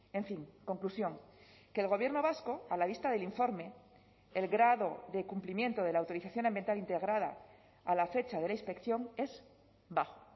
en fin conclusión que el gobierno vasco a la vista del informe el grado de cumplimiento de la autorización ambiental integrada a la fecha de la inspección es bajo